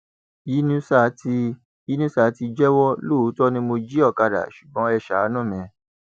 yínusà ti yínusà ti jẹwọ lóòótọ ni mo jí ọkadà ṣùgbọn ẹ ṣàánú mi